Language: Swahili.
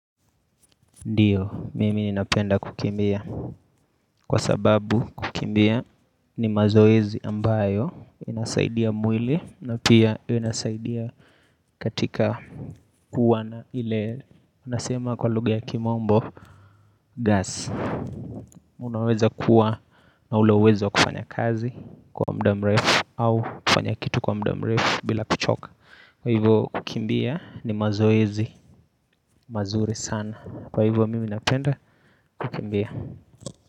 Ndiyo mimi napenda kukimbia kwa sababu kukimbia ni mazoezi ambayo inasaidia mwili na pia inasaidia katika kuwa na ile unasema kwa lugha ya kimombo gas Unaweza kuwa hauna uwezo kufanya kazi kwa muda mrefu au kufanya kitu kwa muda mrefu bila kuchoka Kwa hivyo kukimbia ni mazoezi mazuri sana Kwa hivyo mimi napenda kukimbia.